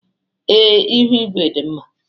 ee, ihu igwe dị mma